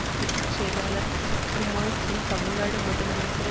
பொது செயலாளர் சுக்குமால் சென் தமிழ்நாடு முதலமைச்சரின்